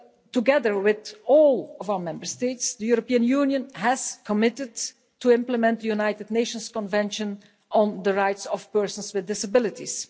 Together with all of our Member States, the European Union has committed to implement the United Nations Convention on the Rights of Persons with Disabilities.